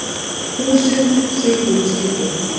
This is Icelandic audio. Húsin séu grútskítug